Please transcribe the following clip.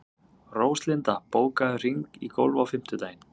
Róslinda, bókaðu hring í golf á fimmtudaginn.